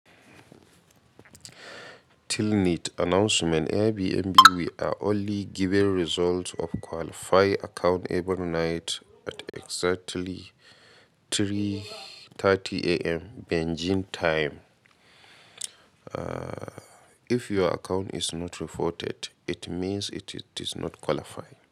Till need announcement Airbnb we are only giving results of qualify account every night at exactly 3:30am Beijing time. Uh, if your account is not reported, it means it is not qualify.